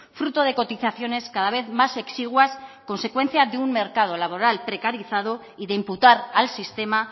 fruto de cotizaciones cada vez más exiguas consecuencia de un mercado laboral precarizado y de imputar al sistema